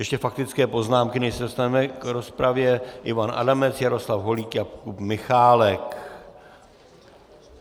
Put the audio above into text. Ještě faktické poznámky, než se dostaneme k rozpravě: Ivan Adamec, Jaroslav Holík, Jakub Michálek.